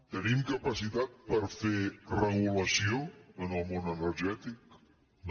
tenim capacitat per fer regulació en el món energètic no